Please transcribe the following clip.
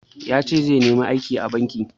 Yace zai nemi aiki a banki.